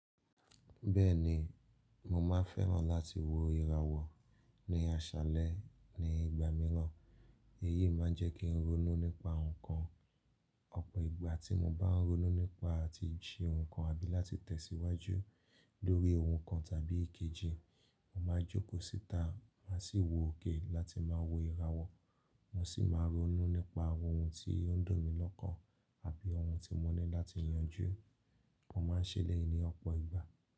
Bẹ́ẹ̀ni, mo máa fẹ́ràn láti wo ìràwọ̀ ní aṣálẹ́ ní ìgbà mìíràn. Eyí máa ń jẹ́ kí n ronú nípa ǹnkan. Ọ̀pọ̀ ìgbà tí mo bá n ronú nípa ti ṣe ǹnkan àbí láti tẹ̀síwájú lórí ohun kan tàbí èkejì, mo máa jókòó síta máa sì wò ókè láti máa wo ìràwọ̀. Mo sì máa ronú nípa àwọn oun tí ó ń dùn mí lọ́kàn àbí oun tí mo ní láti yanjú. Mo máa ń ṣẹ elẹ̀yí ní ọ̀pọ̀ ìgbà.